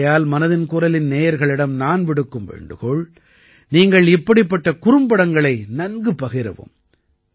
ஆகையால் மனதின் குரலின் நேயர்களிடம் நான் விடுக்கும் வேண்டுகோள் நீங்கள் இப்படிப்பட்ட குறும்படங்களை நன்கு பகிரவும்